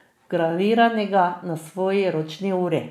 vgraviranega na svoji ročni uri.